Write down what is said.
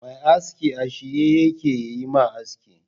Mai aski a shirye yake yayi ma aski.